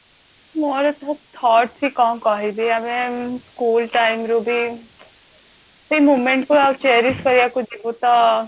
ମୋର thought ବି କଣ କହିବି ଆମେ school time ରୁ ବି moment ଗୁଡା cherish କରିବାକୁ ଯିବୁ ତ